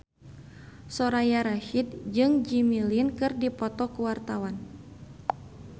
Soraya Rasyid jeung Jimmy Lin keur dipoto ku wartawan